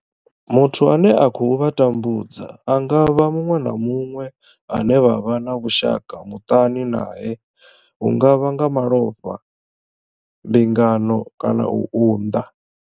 Muthu ane a khou vha tambudza a nga vha muṅwe na muṅwe ane vha vha na vhushaka muṱani nae hu nga vha nga malofha, mbingano kana u unḓa.